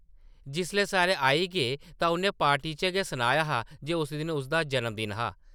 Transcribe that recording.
जिसलै सारे आई गे तां उʼन्नै पार्टी च गै सनाया हा जे उस दिन उसदा जनमदिन हा ।